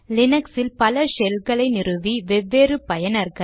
லீனக்ஸில் பல ஷெல்களை நிறுவி வெவ்வேறு பயனர்கள்